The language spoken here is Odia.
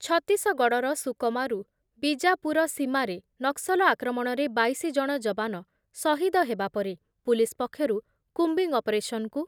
ଛତିଶଗଡ଼ର ସୁକମା ରୁ ବିଜାପୁର ସୀମାରେ ନକ୍ସଲ ଆକ୍ରମଣରେ ବାଇଶି ଜଣ ଯବାନ ସହିଦ ହେବା ପରେ ପୁଲିସ୍ ପକ୍ଷରୁ କୁମ୍ବିଂ ଅପରେସନ୍‌କୁ